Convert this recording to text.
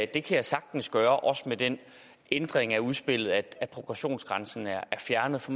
kan jeg sagtens gøre også med den ændring af udspillet at progressionsgrænsen er fjernet for